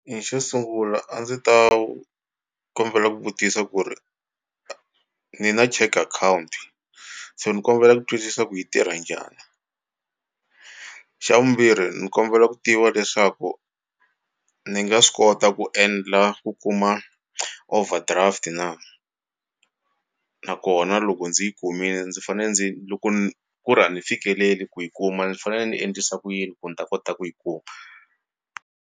xo sungula a ndzi ta kombela ku vutisa ku ri ni na check account so ni kombela ku twisisa ku yi tirha njhani xa vumbirhi ni kombela ku tiva leswaku ni nga swi kota ku endla ku kuma overdraft na nakona loko ndzi yi kumile ndzi fanele ndzi loko ku ri a ni fikeleli ku yi kuma ni fanele ni endlisa ku yini ku ni ta kota ku yi kuma.